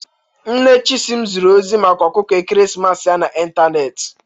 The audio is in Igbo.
Nne Chisim ziri ozi maka ọkụkọ ekeresimesi ya n'ịntanetị.